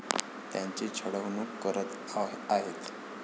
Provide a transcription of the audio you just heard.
त्यांची छळवणूक करत आहेत.